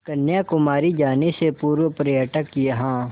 कन्याकुमारी जाने से पूर्व पर्यटक यहाँ